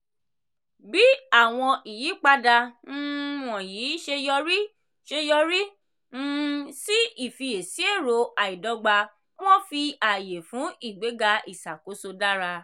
bí àwọn ìyípadà um wọ̀nyí ṣe yọrí ṣe yọrí um sí ìfiyèsí èrò àìdọ́gba wọ́n fi àyè fún ìgbéga ìṣàkóso dára.